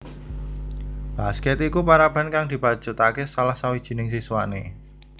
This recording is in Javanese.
Basket iku paraban kang dibacutake salah sawijining siswane